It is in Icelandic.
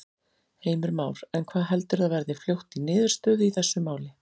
Heimir Már: En hvað heldurðu að verði fljótt í niðurstöðu í þessu máli?